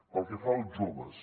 pel que fa als joves